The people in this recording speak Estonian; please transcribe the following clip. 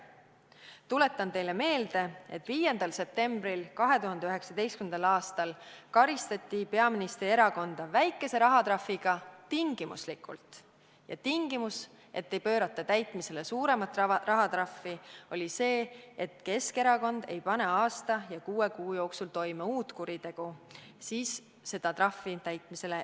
Tuletan teile meelde, et 5. septembril 2019. aastal karistati peaministri erakonda väikese rahatrahviga tingimuslikult ja tingimus, et suuremat rahatrahvi ei pöörata täitmisele, oli see, et Keskerakond ei pane aasta ja kuue kuu jooksul toime uut kuritegu.